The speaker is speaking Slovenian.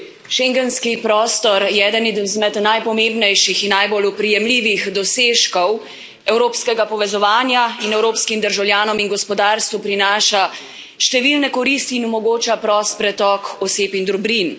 Schengenski prostor je eden izmed najpomembnejših in najbolj oprijemljivih dosežkov evropskega povezovanja in evropskim državljanom in gospodarstvu prinaša številne koristi in omogoča prost pretok oseb in dobrin.